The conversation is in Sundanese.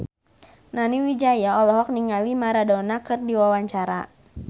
Nani Wijaya olohok ningali Maradona keur diwawancara